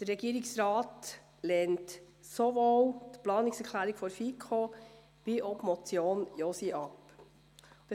Der Regierungsrat lehnt sowohl die Planungserklärung der FiKo als auch die Motion Josi ab.